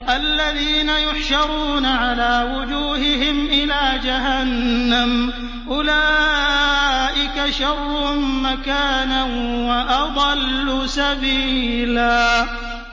الَّذِينَ يُحْشَرُونَ عَلَىٰ وُجُوهِهِمْ إِلَىٰ جَهَنَّمَ أُولَٰئِكَ شَرٌّ مَّكَانًا وَأَضَلُّ سَبِيلًا